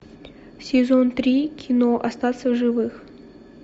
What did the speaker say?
сезон три кино остаться в живых